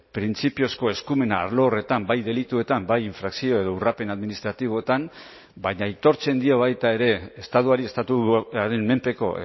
printzipiozko eskumena arlo horretan bai delituetan bai infrakzio edo urrapen administratiboetan baina aitortzen dio baita ere estatuari estatuaren menpeko